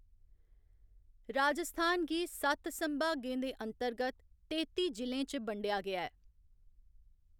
राजस्थान गी सत्त संभागें दे अंतर्गत तेत्ती जि'लें च बंडेआ गेआ ऐ